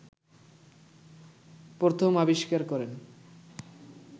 প্রথম আবিষ্কার করেন